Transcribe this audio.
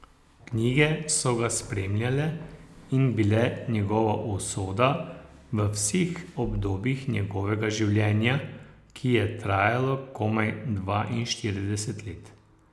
Knjige so ga spremljale in bile njegova usoda v vseh obdobjih njegovega življenja, ki je trajalo komaj dvainštirideset let.